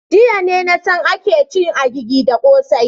Jiya ne na san ake cin agigi da kossai.